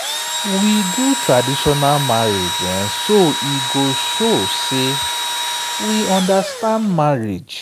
we do traditional marriage so e go show say we understand marriage